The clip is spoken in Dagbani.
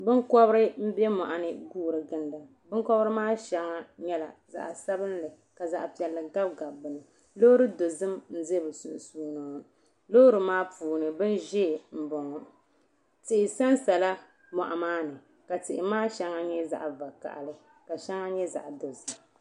Binkobri m be moɣuni n guura ginda binkobri maa sheŋa nyɛla zaɣa sabinli ka zaɣa piɛlli gabi gabi bɛ ni loori dozim n za bɛ sunsuuni ŋɔ loori maa puuni bin'ʒee m boŋɔ tihi sansala moɣu maa ni ka tihi maa sheŋa nyɛ zaɣa vakahali ka sheŋa nyɛ zaɣa dozim.